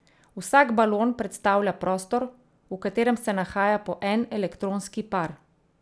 Vsak balon predstavlja prostor, v katerem se nahaja po en elektronski par.